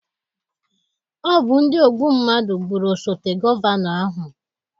Ọ bụ ndị ogbu mmadụ gbụrụ osote gọvanọ ahụ